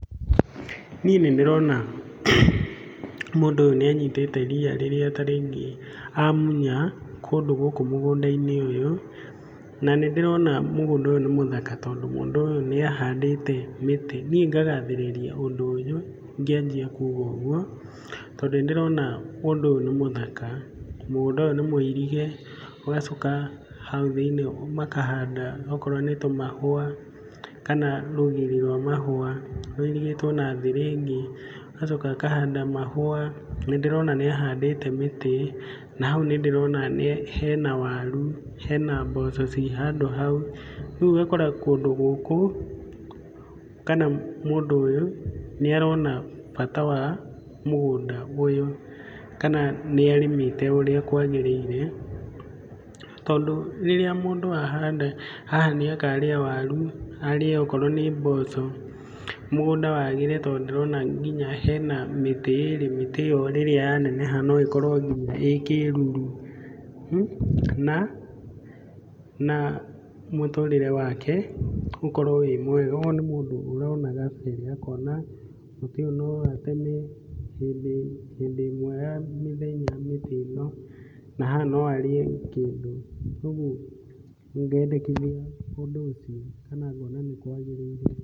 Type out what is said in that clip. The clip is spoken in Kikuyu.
Niĩ nĩ ndĩrona mũndũ ũyũ nĩ anyitĩte ria rĩrĩa ta rĩngĩ amunya kũndũ gũkũ mũgũnda-inĩ ũyũ. Na nĩ ndĩrona mũgũnda ũyũ nĩ mũthaka tondũ mũndũ ũyũ nĩ ahandĩte mĩtĩ. Niĩ ngagathĩrĩria ũndũ ũyũ ngĩanjia kuuga ũguo tondũ nĩ ndĩrona ũndũ ũyũ nĩ mũthaka. Mũgũnda ũyũ nĩ mũirige ũgacoka hau thĩinĩ makahanda okorwo nĩ tũmahũa kana rũgiri rwa mahũa rũirigĩtwo na thĩgĩngĩ. Agacoka akahanda mahũa. Nĩ ndĩrona nĩ ahandĩte mĩtĩ na hau nĩ ndĩrona hena waru, hena mboco ciĩ handũ hau. Rĩu ũgakora kũndũ gũkũ kana mũndũ ũyũ nĩ arona bata wa mũgũnda ũyũ kana nĩ arĩmĩte ũrĩa kwagĩrĩire. Tondũ rĩrĩa mũndũ ahanda haha nĩ akarĩa waru, arĩe okorwo nĩ mboco, mũgũnda wagĩre. Tondũ ndĩrona nginya hena mĩtĩ ĩĩrĩ, mĩtĩ ĩyo rĩrĩa yaneneha no ĩkorwo nginya ĩĩ kĩĩruru. Na mũtũrĩre wake ũkorwo wĩ mwega. Ũyũ nĩ mũndũ ũrona kabere akona mũtĩ ũyũ no ateme hĩndĩ ĩmwe ya mĩthenya mĩtĩ ĩno. Na haha no arĩe kĩndũ. Ũguo ngendekithia ũndũ ũcio kana ngona nĩ kwaagĩrĩire.